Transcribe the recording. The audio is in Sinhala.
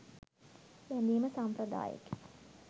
බැඳීම සම්ප්‍රදායකි.